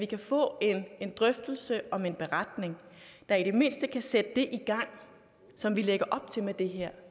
kan få en drøftelse om en beretning der i det mindste kan sætte det i gang som vi lægger op til med det her